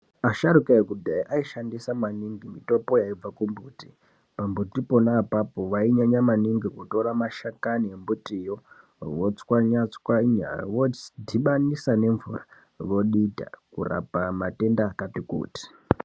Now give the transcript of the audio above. Asharuka ekudhaya aishandisa maningi mitombo yaibve kumbuti, pambiti pona apapo vainyanya maningi kutora mashakani embutiyo votswanya tswanya vodhibanisa ngemvura vodita kurapa matenda akati kuti.